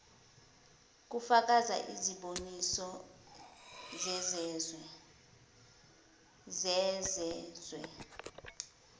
kufaka iziboniso zezezwe